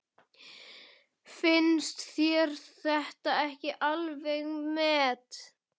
Finnst þér þetta ekki alveg met!